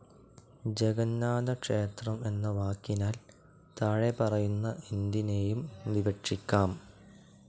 ജഗന്നാഥക്ഷേത്രം എന്ന വാക്കിനാൽ താഴെപറയുന്ന എന്തിനെയും വിവക്ഷിക്കാം.